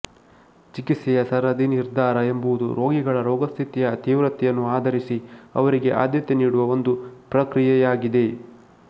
ಚಿಕಿತ್ಸೆಯ ಸರದಿ ನಿರ್ಧಾರ ಎಂಬುದು ರೋಗಿಗಳ ರೋಗಸ್ಥಿತಿಯ ತೀವ್ರತೆಯನ್ನು ಆಧರಿಸಿ ಅವರಿಗೆ ಆದ್ಯತೆ ನೀಡುವ ಒಂದು ಪ್ರಕ್ರಿಯೆಯಾಗಿದೆ